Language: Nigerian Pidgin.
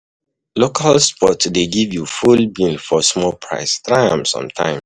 Local spots dey give you full meal for small price, try am sometimes.